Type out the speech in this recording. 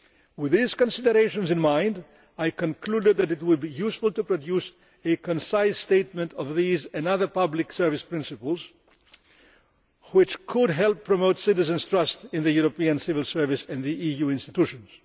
With these considerations in mind, I concluded that it would be useful to produce a concise statement of these and other public service principles which could help promote citizens' trust in the European civil service and the EU institutions.